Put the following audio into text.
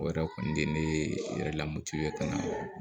O yɛrɛ kɔni de ye ne yɛrɛ lamoti ye ka na